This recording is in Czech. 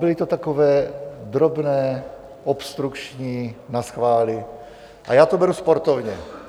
Byly to takové drobné obstrukční naschvály a já to beru sportovně.